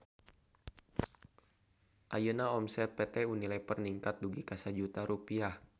Ayeuna omset PT UNILEVER ningkat dugi ka 1 juta rupiah